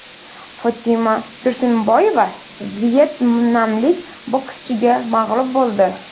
Fotima Tursunboyeva vyetnamlik bokschiga mag‘lub bo‘ldi.